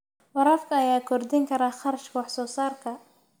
Waraabka ayaa kordhin kara kharashka wax soo saarka.